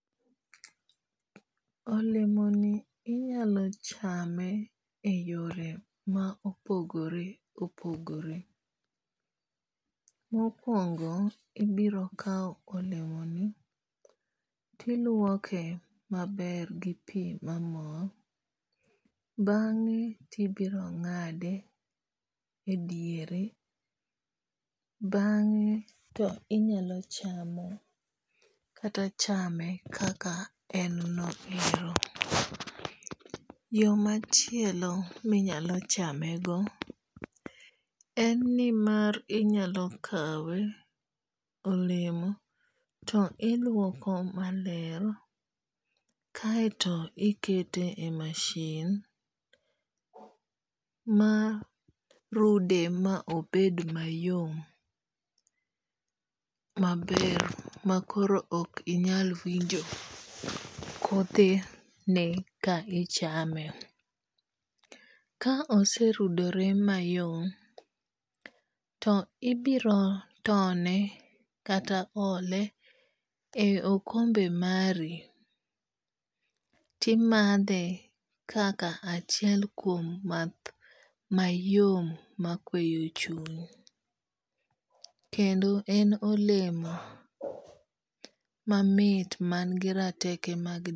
Olemo ni inyalo chame e yore ma opogore opogore. Mokuongo ibiro kaw olemo ni tiluoke maber gi pi mamol. Bang'e tibiro ng'ade e diere. Bang'e to inyalo chamo kata chame kaka en no ero. Yo machielo minyalo chame go en ni mar inyalo kawe olemo to iluoko maler kaeto ikete e masin ma rude ma obed mayom maber makoro ok inyal winjo kothe ne ka ichame. Ka ose rudore mayom to ibiro tone kata ole e okombe mari timadhe kaka achiel kuom math mayom ma kweyo chuny. Kendo en olemo mamit man gi rateke.